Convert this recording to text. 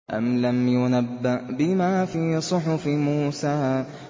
أَمْ لَمْ يُنَبَّأْ بِمَا فِي صُحُفِ مُوسَىٰ